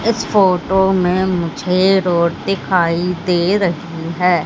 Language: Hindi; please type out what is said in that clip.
इस फोटो में मुझे रोड दिखाई दे रही है।